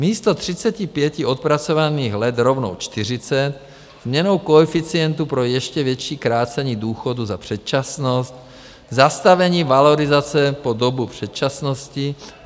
Místo 35 odpracovaných let rovnou 40, změnou koeficientu pro ještě větší krácení důchodů za předčasnost, zastavení valorizace po dobu předčasnosti.